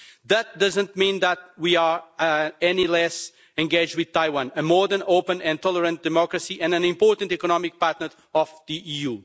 that doesn't mean that we are any less engaged with Taiwan, a more than open and tolerant democracy and an important economic partner of the EU.